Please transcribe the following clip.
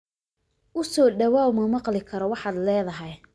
U soo dhawaaw ma maqli karo waxaad leedahay